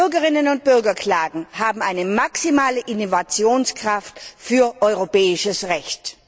Bürgerinnen und Bürgerklagen haben eine maximale Innovationskraft für europäisches Recht!